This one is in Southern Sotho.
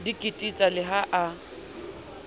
di kititsa le ha a